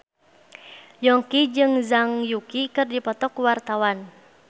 Yongki jeung Zhang Yuqi keur dipoto ku wartawan